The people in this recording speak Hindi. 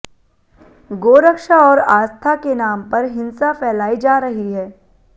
गोरक्षा और आस्था के नाम पर हिंसा फैलाई जा रही है